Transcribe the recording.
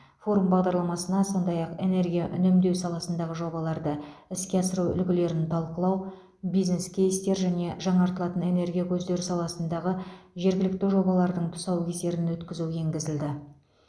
форум бағдарламасына сондай ақ энергия үнемдеу саласындағы жобаларды іске асыру үлгілерін талқылау бизнес кейстер және жаңартылатын энергия көздері саласындағы жергілікті жобалардың тұсаукесерін өткізу енгізілді